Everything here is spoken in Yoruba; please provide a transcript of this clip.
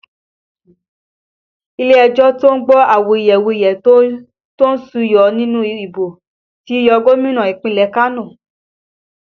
Ilé ẹjọ́ to ń gbọ́ awuyewuye tó súyọ nínú ìbò ti yọ Gómìnà ìpínlẹ̀ Kano